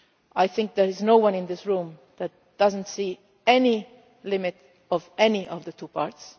both. I think there is no one in this room who does not see any limit of any of the two